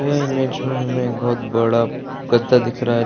यह इमेज में हमें एक बहुत बड़ा गद्दा दिख रहा है।